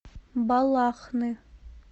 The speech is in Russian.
балахны